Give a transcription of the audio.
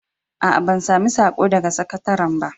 A a, ban sami saƙo daga sakataran ba.